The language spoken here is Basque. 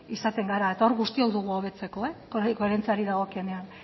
izaten gara eta hor guztiok dugu hobetzeko hori koherentziari dagokionean